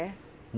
É?